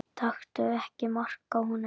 Taktu ekki mark á honum.